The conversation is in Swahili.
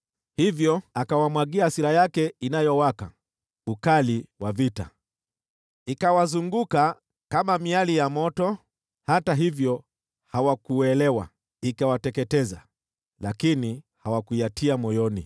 Hivyo akawamwagia hasira yake inayowaka, ukali wa vita. Iliwazunguka kwa miali ya moto, lakini hata hivyo hawakuelewa; iliwateketeza, lakini hawakuyatia moyoni.